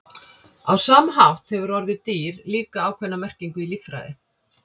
á sama hátt hefur orðið „dýr“ líka ákveðna merkingu í líffræði